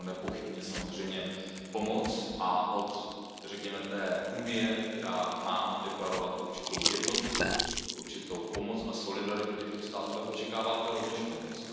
Nepochybně samozřejmě pomoc a od Unie, která má deklarovat určitou jednotu, určitou pomoc a solidaritu těchto států, tak očekáváte rovněž pomoc.